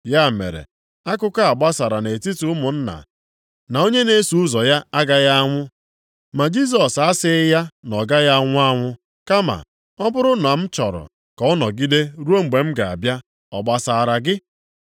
Ya mere, akụkọ a gbasara nʼetiti ụmụnna na onye a na-eso ụzọ ya agaghị anwụ. Ma Jisọs asịghị ya na ọ gaghị anwụ anwụ, kama, “Ọ bụrụ na m chọrọ ka ọ nọgide ruo mgbe m ga-abịa, ọ gbasara gị?”